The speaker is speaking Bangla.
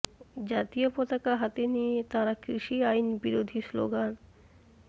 জাতীয় পতাকা হাতে নিয়ে তাঁরা কৃষি আইন বিরোধী স্লোগান